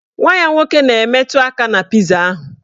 Nwa ya nwoke na-emetụ aka na piza ahụ